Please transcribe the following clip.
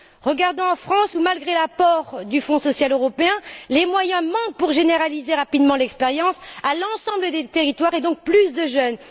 Regardons en France, où malgré l'apport du Fonds social européen, les moyens manquent pour étendre rapidement l'expérience à l'ensemble des territoires, et donc à plus de jeunes.